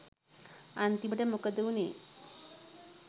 අන්තිමට මොකද උනේ